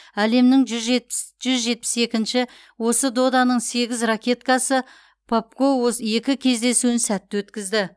әлемнің жүз жетпіс екінші осы доданың сегіз ракеткасы попко ос екі кездесуін сәтті өткізді